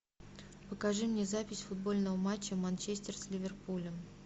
покажи мне запись футбольного матча манчестер с ливерпулем